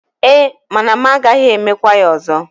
E, mana m gaghi emekwa ya ozo.